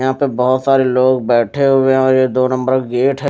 यहां पे बहोत सारे लोग बैठे हुए हैं और ये दो नम्बर गेट है।